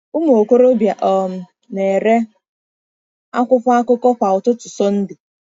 Ụmụ okorobịa um na-ere akwụkwọ akụkọ kwa ụtụtụ Sunday.